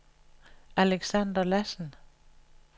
Alexander Lassen